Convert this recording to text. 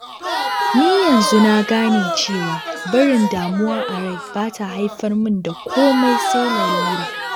Ni yanzu na gane cewa, barin damuwa a rai ba ta haifar min da komai sai lalura